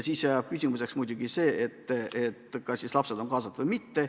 Küsimuseks jääb muidugi see, kas siis lapsed on kaasatud või mitte.